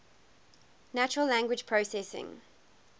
natural language processing